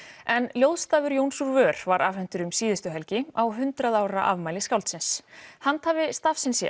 en ljóðstafur Jóns úr vör var afhentur um síðustu helgi á hundrað ára afmæli skáldsins handhafi stafsins í